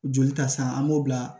Joli ta san an b'o bila